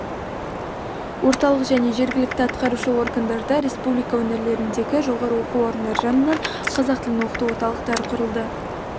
орталық және жергілікті атқарушы органдарда республика өңірлеріндегі жоғары оқу орындары жанынан қазақ тілін оқыту орталықтары құрылды